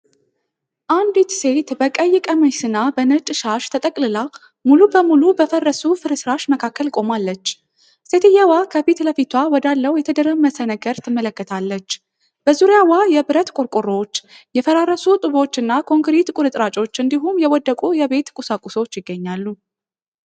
አንዲት ሴት በቀይ ቀሚስና በነጭ ሻሽ ተጠቅልላ፣ ሙሉ በሙሉ በፈረሱ ፍርስራሽ መካከል ቆማለች። ሴትየዋ ከፊት ለፊቷ ወዳለው የተደረመሰ ነገር ትመለከታለች። በዙሪያዋ የብረት ቆርቆሮዎች፣ የፈራረሱ ጡቦች እና ኮንክሪት ቁርጥራጮች እንዲሁም የወደቁ የቤት ቁሳቁሶች ይገኛሉ።